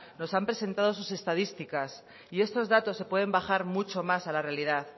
nos han presentado sus estadísticas y esos datos se pueden bajar mucho más a la realidad